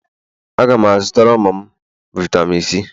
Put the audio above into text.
Aga m azụtara ụmụ m vitami C